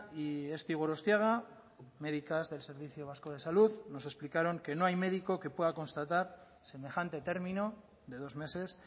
y esti gorostiaga medicas del servicio vasco de salud nos lo explicaron que no hay médico que pueda constatar semejante término de dos meses